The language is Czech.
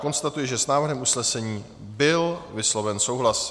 Konstatuji, že s návrhem usnesení byl vysloven souhlas.